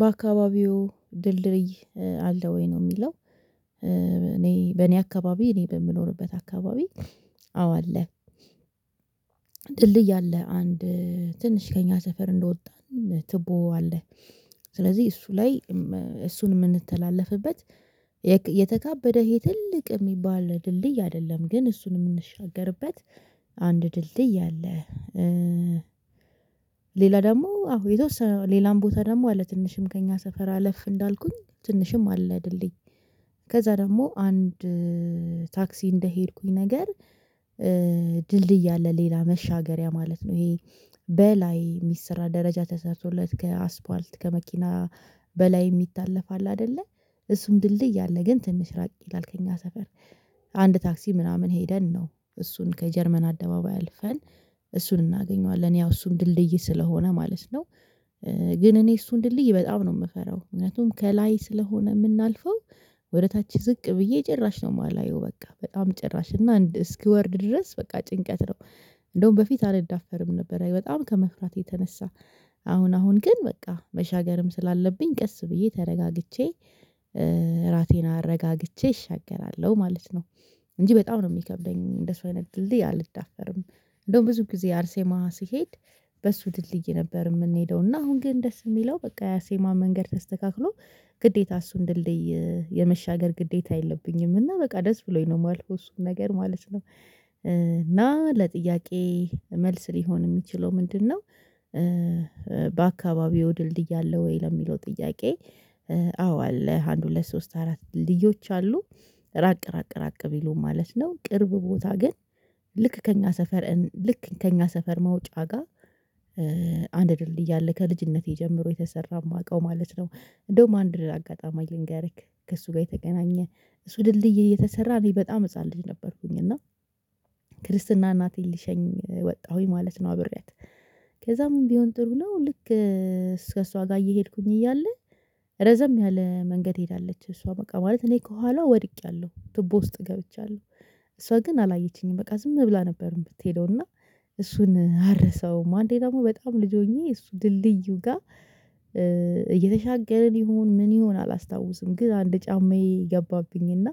በአካባቢዎ ድልድይ አለ ወይ? ነው ሚለው። እኔ በእኔ አካባቢ እኔ በምኖርበት አካባቢ አዎ አለ። ድልድይ አለ አንድ ትንሽ ከእኛ ሰፈር እንደወጣን ትቦ አለ። ስለዚህ እሱ ላይ እሱን የምንተላለፍበት የተካበደ ይሄ ትልቅ የሚባል ድልድይ አይደለም። ግን እሱን ምንሻገርበት አንድ ድልድይ አለ። ሌላ ደግሞ አዎ የተወሰነ ሌላም ቦታ ደግሞ አለ። ትንሽም ሰፈር አለፍ እንዳልኩኝ ትንሽም አለ ድልድይ። ከዛ ደግሞ አንድ ታክሲ እንደሄድኩኝ ነገር ድልድይ አለ ሌላ መሻገሪያ ማለት ነው ይሄ በላይ የሚሰራ ደረጃ ተሰርቶለት ከአስፓልት ከመኪና በላይ የሚታለፍ አለ አይደለ እሱም ድልድይ አለ። ግን ትንሽ ራቅ ይላል ከእኛ ሰፈር አንድ ታክሲ ምናምን ሄደን ነው እሱን ከጀርመን አደባባይ አልፈን እሱን እናገኘዋለን። ያው እሱም ድልድይ ስለሆነ ማለት ነው። ግን እኔ እሱን ድልይ በጣም ነው ምፈራው። ምክንያቱም ከላይ ስለሆነ ምናልፈው ወደ ታች ዝቅ ብዬ ጭራሽ ነው ማላየው በቃ በጣም ጭራሽ እና እስክወርድ ድረስ በቃ ጭንቀት ነው። እንደውም በፊት አልዳፈርም ነበር በጣም ከመፍራት የተነሳ። አሁን አሁን ግን በቃ መሻገርም ስላለብኝ ቀስ ብዬ ተረጋግቼ እራሴን አረጋግቼ እሻገራለሁ ማለት ነው። እንጂ በጣም ነው ሚከብደኝ እንደሱ አይነት ድልድይ አልዳፈርም። እንደውም ብዙ ጊዜ አርሴማ ስሄድ በሱ ድልድይ ነበር የምንሄደው እና አሁን ግን ደስ የሚለው በቃ የአርሴማ መንገድ ተስተካክሎ ግዴታ እሱን ድልድይ የመሻገር ግዴታ የለብኝም እና በቃ ደስ ብሎኝ ነው ማልፈው እሱን ነገር ማለት ነው እና ለጥያቄ መልስ ሊሆን የሚችለው ምንድነው? በአካባቢዎ ድልድይ አለ ወይ ለሚለው ጥያቄ አዎ አለ አንድ ሁለት ሶስት አራት ድልድዮች አሉ። ራቅ ራቅ ራቅ ቢሉም ማለት ነው። ቅርብ ቦታ ግን ልክ ከእኛ ሰፈር ልክ ከእኛ ሰፈር መውጫ ጋ አንድ ድርልድይ አለ ከልጅነቴ ጀምሮ የተሰራ ማውቀው ማለት ነው። እንደውም አንድ አጋጣሚ ልንገርክ። ከእሱ ጋ የተገናኘ። እሱ ድልድይ እየተሰራ እኔ በጣም ህፃን ልጅ ነበርኩኝ እና ክርስትና እናቴን ልሸኝ ወጣሁኝ ማለት ነው አብሬያት ከዛ ምን ቢሆን ጥሩ ነው ልክ ከሷ ጋ እየሄድኩኝ እያለ ረዘም ያለ መንገድ ሄዳለች እሷ በቃ ማለት እኔ ከኋላዋ ወድቄያለሁ ቱቦ ውስጥ ገብቻለሁ። እሷ ግን አላየችኝም በቃ ዝም ብላ ነበር የምትሄደው እና እሱን አልረሳውም። አንዴ ደግሞ በጣም ልጅ ሆኜ እሱ ድልድዩ ጋ እየተሻገርን ይሁን ምን ይሁን አላስታውስም ግን አንድ ጫማዬ ገባብኝ እና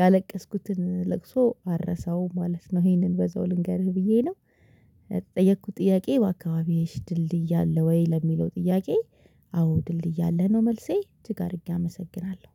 ያለቀስኩትን ለቅሶ አልረሳውም ማለት ነው። ይሄንን በዛው ልንገርህ ብዬ ነው። ለተጠየኩት ጥያቄ በአካባቢሽ ድልድይ አለ ወይ? ለሚለው ጥያቄ አዎ ድልድይ አለ ነው መልሴ። እጅግ አድርጌ አመሰግናለሁ!